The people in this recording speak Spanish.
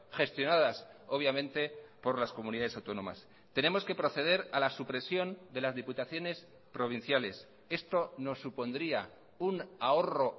gestionadas obviamente por las comunidades autónomas tenemos que proceder a la supresión de las diputaciones provinciales esto nos supondría un ahorro